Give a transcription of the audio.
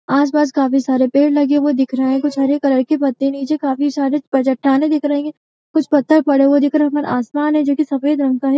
आस-पास काफी सारे पेड़ लगे हुए दिख रहे हैं कुछ हरे कलर के पत्ते नीचे काफी सारे प चट्टानें दिख रही है कुछ पत्थर पड़े हुए दिख रहे हैं ऊपर आसमान है जो कि सफेद रंग का है।